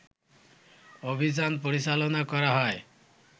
অভিযান পরিচালনা করা হয়